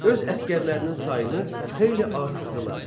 Öz əsgərlərinin sayını xeyli artırdılar.